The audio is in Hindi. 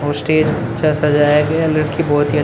और स्टेज अच्छा सजाया गया लड़की बहुत ही अच्छी --